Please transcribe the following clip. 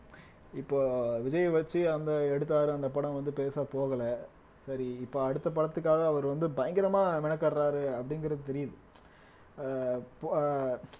இப்போ விஜய வச்சு அந்த எடுத்தாரு அந்த படம் வந்து பெருசா போகல சரி இப்போ அடுத்த படத்துக்காக அவர் வந்து பயங்கரமா மெனக்காடுறாரு அப்படிங்கிறது தெரியுது ஆஹ் இப் ஆஹ்